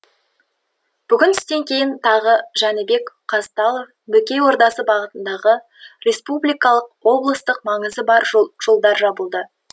бүгін түстен кейін тағы жәнібек казталов бөкей ордасы бағытындағы республикалық облыстық маңызы бар жол жолдар жабылды